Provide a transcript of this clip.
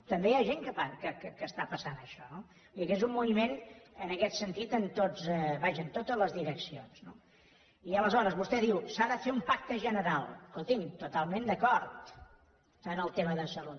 també hi ha gent que està passant això no vull dir que és un moviment en aquest sentit vaja en totes les direccions no i aleshores vostè diu s’ha de fer un pacte general escolti’m totalment d’acord en el tema de salut